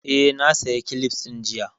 Eh, na saya kilifs ɗin jiya